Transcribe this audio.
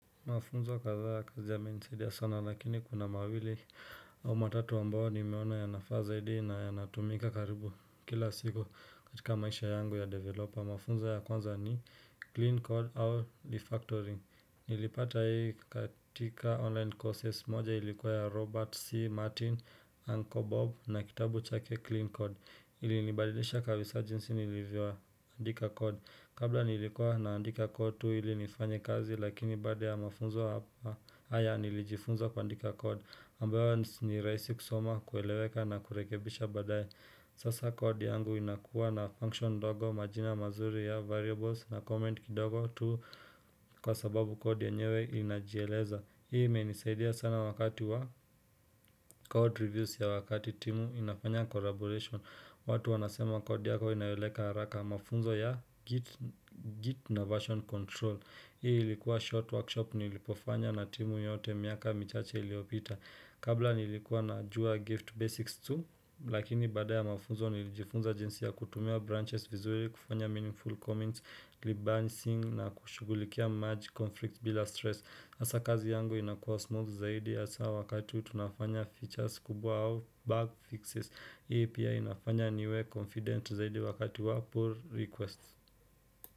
Mafunzo kadhaa ya kazi yamenisaidia sana lakini kuna mawili au matatu ambayo nimeona yanafaa zaidi na yanatumika karibu kila siku katika maisha yangu ya developer. Mafunzo ya kwanza ni Clean Code or Refactoring. Nilipata hii katika online courses moja ilikuwa ya Robert C. Martin, Uncle Bob na kitabu chake Clean Code. Ilinibadilisha kawis urgency nilivyo andika code Kabla nilikuwa naandika code tu ilinifanye kazi lakini baada ya mafunzo hapa haya nilijifunza kuandika code ambayo ni rahisi kusoma kueleweka na kurekebisha badaye Sasa code yangu inakuwa na function ndogo majina mazuri ya variables na comment kidogo tu Kwa sababu code yenyewe ilinajieleza Hii imenisaidia sana wakati wa code reviews ya wakati timu inafanya collaboration watu wanasema code yako inaeleweka haraka mafunzo ya git na version control Hii ilikuwa short workshop nilipofanya na timu yote miaka michache iliopita Kabla nilikuwa na jua gift basics 2 Lakini baada ya mafunzo nilijifunza jinsi ya kutumia branches vizuri kufanya meaningful comments rebancing na kushugulikia merge conflict bila stress sasa kazi yangu inakuwa smooth zaidi hasa wakati tunafanya features kubwa au bug fixes Hii pia inafanya niwe Confident zaidi wakati wa pull requests.